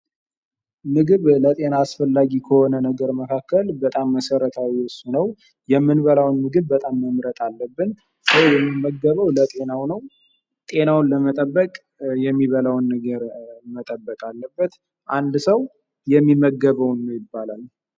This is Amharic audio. ምግብ ለጤና አስፈላጊ ከሆነ ነገር መካከል በጣም መሠረታዊ እርሱ ነው። የምንበላውን ምግብ በጣም መምረጥ አለብን። ሰው የሚመገበው ለጤና ሆነው። ጤናውን ለመጠበቅ የሚባለውን ነገር መጠበቅ አለበት። አንድ ሰው የሚመገበውን ነው ይባላል።